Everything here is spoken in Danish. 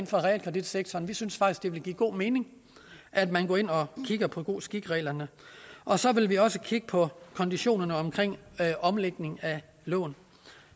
for realkreditsektoren vi synes faktisk det vil give god mening at man går ind og kigger på god skik reglerne og så vil vi også kigge på konditionerne omkring omlægning af lån